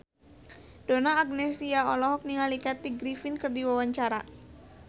Donna Agnesia olohok ningali Kathy Griffin keur diwawancara